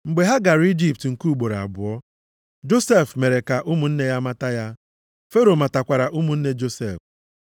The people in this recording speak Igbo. Mgbe ha gara Ijipt nke ugboro abụọ, Josef mere ka ụmụnne ya mata ya, Fero matakwara ụmụnne Josef.